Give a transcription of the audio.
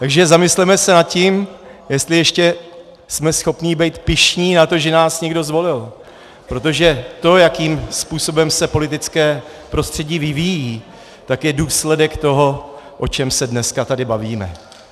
Takže zamysleme se nad tím, jestli ještě jsme schopni být pyšní na to, že nás někdo zvolil, protože to, jakým způsobem se politické prostředí vyvíjí, tak je důsledek toho, o čem se dneska tady bavíme.